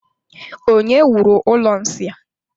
Onye wuru ụlọ nsị a?